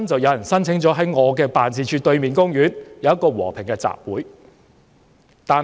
有人申請在我的辦事處對面的公園，舉行一個和平集會。